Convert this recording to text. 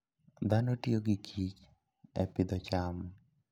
Dhano tiyo gi kich e pidho cham.